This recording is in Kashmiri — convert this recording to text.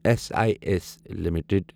S I S limited